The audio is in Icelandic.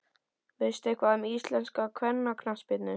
Veistu eitthvað um íslenska kvennaknattspyrnu?